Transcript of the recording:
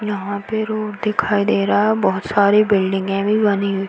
यहा पे रोड दिखाई दे रहा है। बहोत सारी बिल्डिंगे भी बनी हुई।